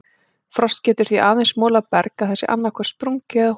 Frost getur því aðeins molað berg að það sé annaðhvort sprungið eða holótt.